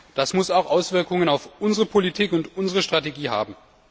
Das muss auch Auswirkungen auf unsere Politik und unsere Strategie haben.